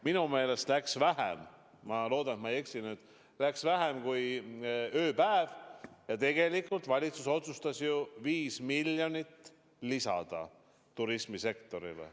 Minu meelest läks vähem –ma loodan, et ma ei eksi – kui ööpäev, kui valitsus otsustas 5 miljonit lisada turismisektorile.